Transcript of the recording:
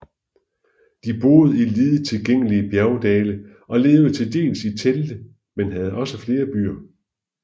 De boede i lidet tilgængelige bjergdale og levede til dels i telte men havde også flere byer